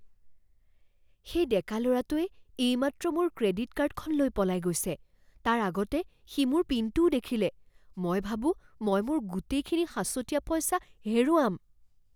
সেই ডেকা ল'ৰাটোৱে এইমাত্ৰ মোৰ ক্ৰেডিট কাৰ্ডখন লৈ পলাই গৈছে। তাৰ আগতে সি মোৰ পিনটোও দেখিলে। মই ভাবোঁ মই মোৰ গোটেইখিনি সাঁচতীয়া পইচা হেৰুৱাম।